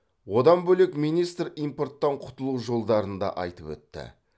одан бөлек министр импорттан құтылу жолдарын да айтып өтті